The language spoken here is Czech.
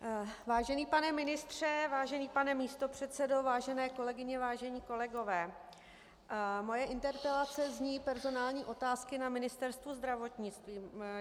Vážený pane ministře, vážený pane místopředsedo, vážené kolegyně, vážení kolegové, moje interpelace zní: personální otázky na Ministerstvu zdravotnictví.